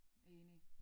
Enig